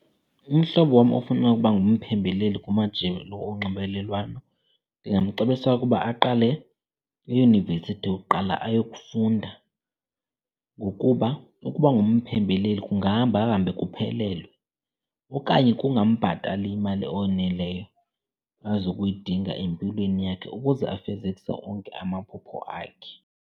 Umhlobo wam ofuna ukuba ngumphembeleli kumajelo onxibelelwano ndingamcebisa ukuba aqale eyunivesithi kuqala ayokufunda. Ngokuba ukuba umphembeleli kungahambahambe kuphelelwe okanye kungambhatali imali oneleyo azokuyidinga empilweni yakhe ukuze afezekise onke amaphupho akhe.